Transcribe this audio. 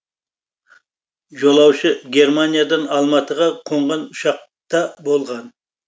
жолаушы германиядан алматыға қонған ұшақта болған